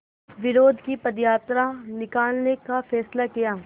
विरोध की पदयात्रा निकालने का फ़ैसला किया